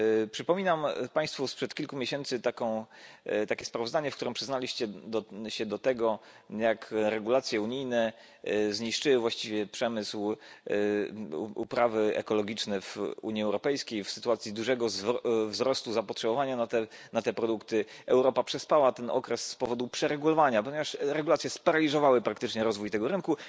Przypominam Państwu sprzed kilku miesięcy takie sprawozdanie, w którym przyznaliście się do tego, jak regulacje unijne zniszczyły właściwie uprawy ekologiczne w Unii Europejskiej. W sytuacji dużego wzrostu zapotrzebowania na te produkty Europa przespała ten okres z powodu przeregulowania, ponieważ regulacje sparaliżowały praktycznie rozwój tego rynku.